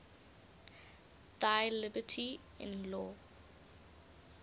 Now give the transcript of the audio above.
thy liberty in law